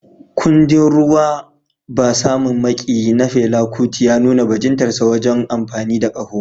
Kundin "Ruwa Ba Samun Maƙiyi" na Fela Kuti ya nuna bajintar sa wajen amfani da ƙaho.